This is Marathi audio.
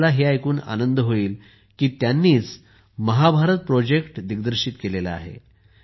तुम्हाला हे ऐकून आनंद होईल की त्यांनीच महाभारत प्रोजेक्ट दिग्दर्शित केलेला आहे